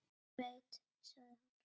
Hver veit, sagði hún.